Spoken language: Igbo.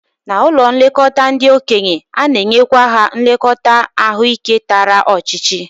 N'ụlọ nlekọta ndị okenye, ana-enyekwa ha nlekọta ahụike tara ọchịchị